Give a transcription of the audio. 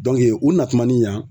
u natumani yan